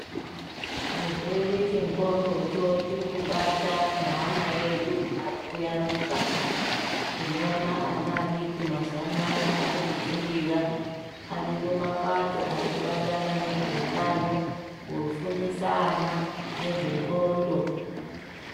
Chirwere chendxondocho chirikubata neana edu ari kuyaruka. Tinoona ana adiki mazuwa anaya ari kudzungira ariyo mapato arikubatana nezveutano kufundisa ana ngezve ndxondo.